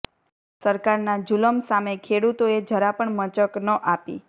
સરકારના જુલમ સામે ખેડૂતોએ જરા પણ મચક ન આપી